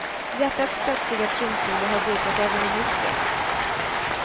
Hjärtats plötsliga trumsolo har bultat även i mitt bröst.